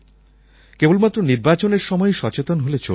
কেবলমাত্র নির্বাচনের সময়ই সচেতন হলে চলবে না